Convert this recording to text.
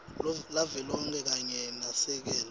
lavelonkhe kanye nasekela